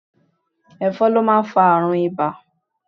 Ẹ̀fọn ló máa ń fa àrùn ibà